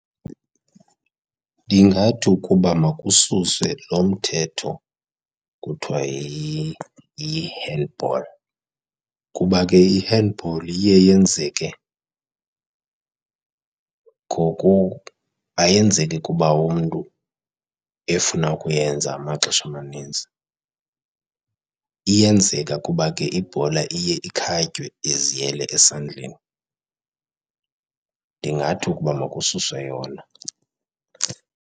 Ndingathi ukuba makususwe lo mthetho kuthiwa yi-handball kuba ke i-handball iye yenzeke ayenzeki kuba umntu efuna ukuyenza amaxesha amanintsi. Iyenzeka kuba ke ibhola iye ikhatywe iziyele esandleni. Ndingathi ukuba makususwe yona.